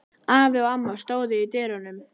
Afi og amma stóðu í dyrunum.